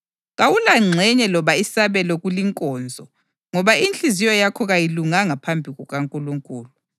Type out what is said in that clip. Kawulangxenye loba isabelo kulinkonzo ngoba inhliziyo yakho kayilunganga phambi kukaNkulunkulu.